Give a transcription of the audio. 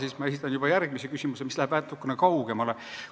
Aga ma esitan juba järgmise küsimuse, mis läheb natukene kaugemale.